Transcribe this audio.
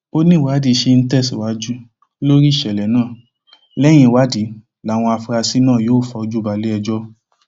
ó níwádìí sì ń tẹsíwájú lórí ìṣẹlẹ náà lẹyìn ìwádìí làwọn afurasí náà yóò fojú balẹẹjọ